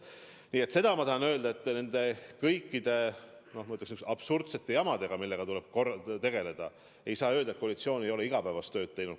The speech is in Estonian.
Nii et seda ma tahan öelda, et nende kõikide absurdsete jamade tõttu, millega on tulnud tegeleda, ei saa öelda, et koalitsioon ei ole igapäevast tööd teinud.